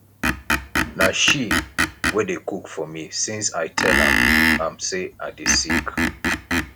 na she wey dey cook for me since i tell am am say i dey sick